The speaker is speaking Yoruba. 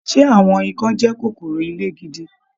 Ṣe àwọn ìkan jẹ kòkòrò ilé gidi?